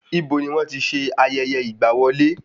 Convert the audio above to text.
Ibo ni wọ́n ti n se ayẹyẹ ìgbà wọlé?